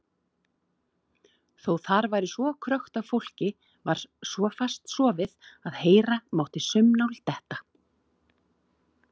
Þó þar væri krökkt af fólki var svo fast sofið að heyra mátti saumnál detta.